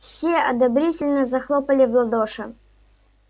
все одобрительно захлопали в ладоши